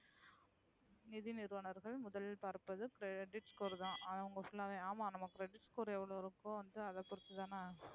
நிதி நிறுவனர்கள் முதலில் பார்ப்பது credit score தான். அவுங்க full அஹ் ஆமா நம்ம credit score எவ்ளோ இருக்கோ அதா பொறுத்து தான.